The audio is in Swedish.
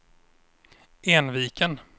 Enviken